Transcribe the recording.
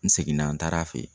N seginna n taara fɛ yen